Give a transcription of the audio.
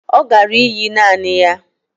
Ọ gara íyí naanị ya